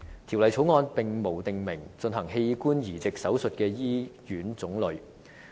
《條例草案》並無訂明進行器官移植手術的醫院種類。